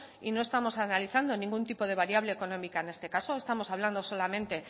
y no estamos analizando ningún tipo de variable económica en este caso estamos hablando solamente